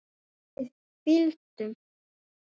Við fylgdum